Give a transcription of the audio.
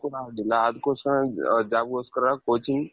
so ಅದು ಕೂಡ ಆಗಿಲ್ಲ ಅದಕ್ಕೋಸ್ಕರ ನಾನ್ jobಗೋಸ್ಕರ coaching